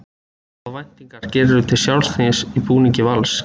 Hvaða væntingar gerirðu til sjálfs þíns í búningi Vals?